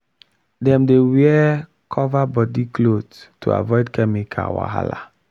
dem dey wear cover body cloth to avoid chemical wahala.